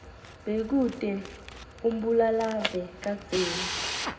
bekute umbulalave kadzeni